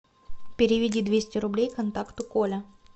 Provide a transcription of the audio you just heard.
переведи двести рублей контакту коля